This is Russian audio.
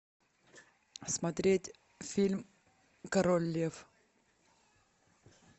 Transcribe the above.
смотреть фильм король лев